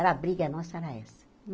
Era a briga nossa, era essa.